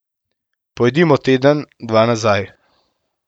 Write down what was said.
Pojdimo teden, dva nazaj.